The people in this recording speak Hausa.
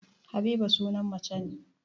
Habiba sunan mace ne